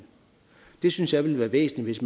det synes jeg ville være væsentligt